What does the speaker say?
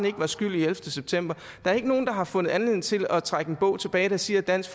ikke var skyld i ellevte september der er ikke nogen der har fundet anledning til at trække en bog tilbage der siger at dansk